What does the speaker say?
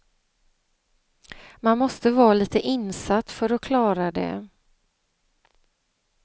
Man måste vara lite insatt för att klara det.